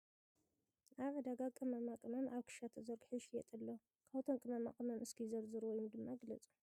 ኣብ ዕዳጋ ቅመማ ቅመም ኣብ ክሻ ተዘርጊሑ ይሽየጥ ኣሎ ። ካብ እቶም ቅመማ ቅመም እስኪ ዘርዝሩ ወይ ድማ ግለፁ ?